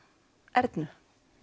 Ernu